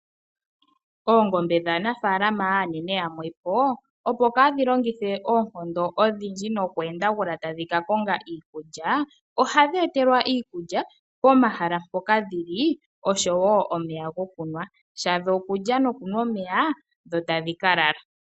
Oongombe dhaanafaalama aanene yamwe po opo kaadhi longithe oonkondo odhindji noku endagula tadhi ka konga iikulya, ohadhi etelwa iikulya pomahala mpoka dhi li, osho wo omeya gokunwa. Shadho okulya nokunwa omeya, dho tadhi ka lala.